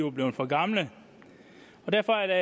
er blevet for gamle derfor er der